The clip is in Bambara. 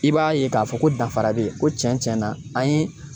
I b'a ye k'a fɔ ko danfara be yen ko cɛn cɛn na an ye